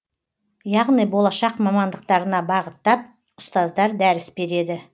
яғни болашақ мамандықтарына бағыттап ұстаздар дәріс береді